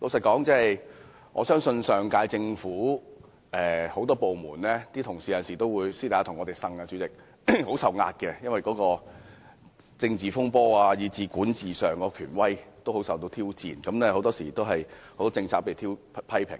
坦白說，上屆政府很多部門的職員有時會私下向我們訴苦，說由於發生政治風波和政府管治權威受到挑戰，他們承受很大壓力，多項政策均受到批評。